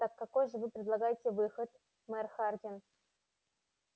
так какой же вы предлагаете выход мэр хардин